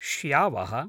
श्यावः